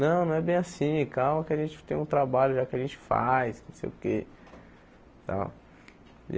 Não, não é bem assim, calma que a gente tem um trabalho já que a gente faz, não sei o quê tal.